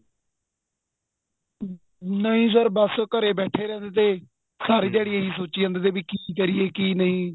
ਹਮ ਨਹੀਂ sir ਘਰੇ ਬੈਠੇ ਰਹਿੰਦੇ ਤੇ ਦਿਹਾੜੀ ਏ ਹੀ ਸੋਚੀ ਜਾਂਦੇ ਤੇ ਵੀ ਕੀ ਕਰੀਏ ਕੀ ਨਹੀਂ